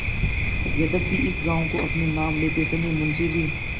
यद्यपि इस गॉँव को अपने नाम लेते समय मुंशी जी